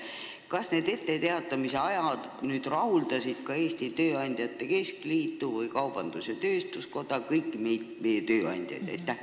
Kas need etteteatamise ajad rahuldavad ka Eesti Tööandjate Keskliitu ning kaubandus-tööstuskoda, kõiki meie tööandjaid?